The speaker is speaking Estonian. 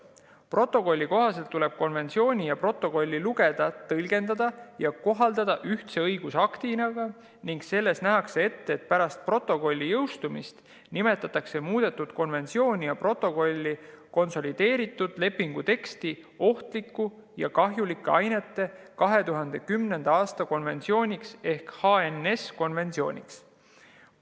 Protokolli kohaselt tuleb konventsiooni ja protokolli lugeda, tõlgendada ja kohaldada ühtse õigusaktina ning selles nähakse ette, et pärast protokolli jõustumist nimetatakse muudetud konventsiooni ja protokolli konsolideeritud lepingu teksti ohtliku ja kahjulike ainete 2010. aasta konventsiooniks ehk HNS-konventsiooniks.